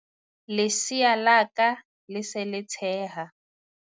Lesea la ka le se le tsheha.